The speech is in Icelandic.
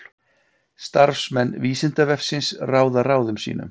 starfsmenn vísindavefsins ráða ráðum sínum